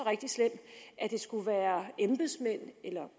er det skulle være embedsmænd eller